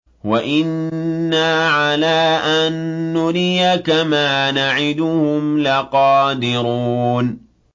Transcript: وَإِنَّا عَلَىٰ أَن نُّرِيَكَ مَا نَعِدُهُمْ لَقَادِرُونَ